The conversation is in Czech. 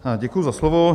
Děkuji za slovo.